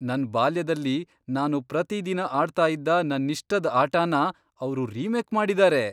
ನನ್ ಬಾಲ್ಯದಲ್ಲಿ ನಾನು ಪ್ರತೀ ದಿನ ಆಡ್ತಾ ಇದ್ದ ನನ್ನಿಷ್ಟದ್ ಆಟನ ಅವ್ರು ರಿಮೇಕ್ ಮಾಡಿದಾರೆ!